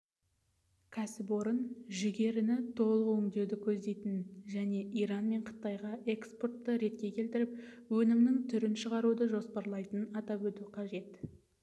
кәсіпорын жүгеріні толық өңдеуді көздейтінін және иран мен қытайға экспортты ретке келтіріп өнімнің түрін шығаруды жоспарлайтынын атап өту қажет